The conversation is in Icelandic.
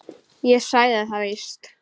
Ég sagði það víst.